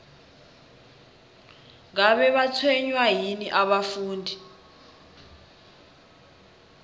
ngabe batshwenywa yini abafundi